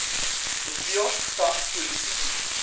hoeveel sa polisiediens